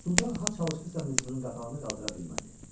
Sultan ha çalışdısa mücrünün qapağını qaldıra bilmədi.